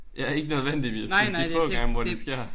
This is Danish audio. Ja ikke nødvendigvis men de få gange hvor det sker